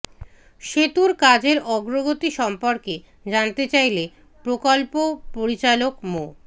সেতুর কাজের অগ্রগতি সম্পর্কে জানতে চাইলে প্রকল্প পরিচালক মো